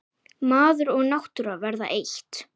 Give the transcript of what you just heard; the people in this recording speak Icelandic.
Maður og náttúra verða eitt.